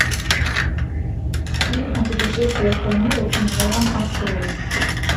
фильм о путешествиях по миру и мирам открой